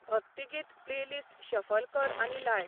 भक्तिगीत playlist shuffle कर आनी लाय